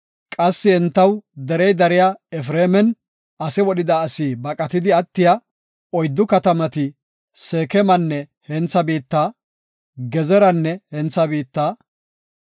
Qassi entaw derey dariya Efreeman, ase wodhida asi baqatidi attiya oyddu katamati Seekemanne hentha biitta, Gezeranne hentha biitta,